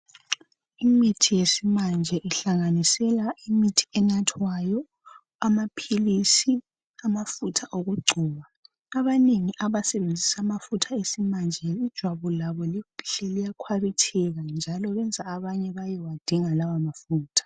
Imithi yesimanje ihlanganisela imithi enathwayo, amaphilisi, amafutha okugcoba abanengi abasebenzisa amafutha esimanje ijwabu labo liyakhwabitheka njalo benza abanye bayewadinga lawo mafutha.